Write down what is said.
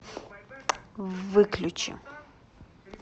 выключи